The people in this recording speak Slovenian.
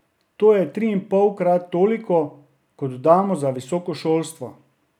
To je triinpolkrat toliko, kot damo za visoko šolstvo.